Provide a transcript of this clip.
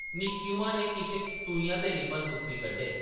निक्की उमा ने किश सूइयां ते रिब्नन तुप्पी कड्ढे ।